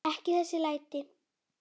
Ekki þessi læti.